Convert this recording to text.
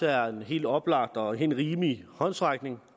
er en helt oplagt og helt rimelig håndsrækning